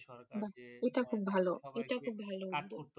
বাহ এটা খুব ভালো